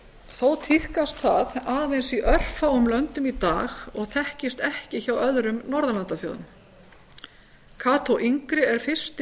þó tíðkast það í aðeins örfáum löndum í dag og þekkist ekki hjá öðrum norðurlandaþjóðum kató yngri er fyrsti